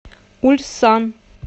ульсан